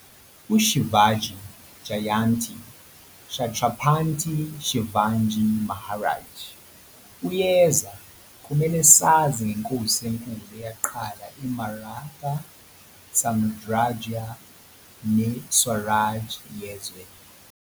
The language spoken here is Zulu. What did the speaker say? UShivaji Jayanti, Chhatrapati Shivaji Maharaj, uyeza kumele sazi ngeNkosi enkulu eyaqala iMaratha samrajya neSwaraj yezwe.